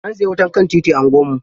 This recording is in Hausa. An saya wutar kan titi a unguwarmu.